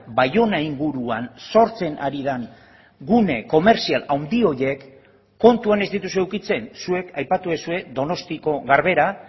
baiona inguruan sortzen ari den gune komertzial handi horiek kontuan ez dituzue edukitzen zuek aipatu duzue donostiako garbera